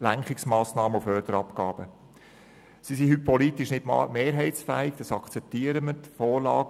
Sie sind heute politisch nicht mehrheitsfähig, das akzeptieren wir.